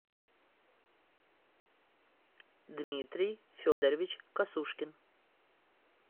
дмитрий федорович косушкин